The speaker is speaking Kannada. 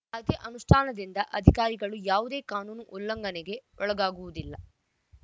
ಕಾಯ್ದೆ ಅನುಷ್ಠಾನದಿಂದ ಅಧಿಕಾರಿಗಳು ಯಾವುದೇ ಕಾನೂನು ಉಲ್ಲಂಘನೆಗೆ ಒಳಗಾಗುವುದಿಲ್ಲ